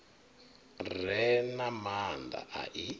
re na maanda a i